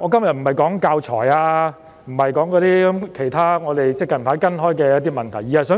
我今天不是討論教材或其他最近我們正跟進的問題，而是